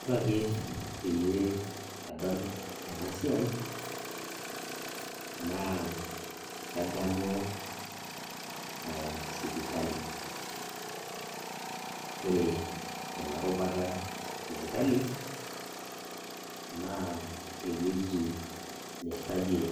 Ore ake pee adol enasiai, naa kadamu ah sipitali. Ore ena rubata esipitali, naa ewueji nirragie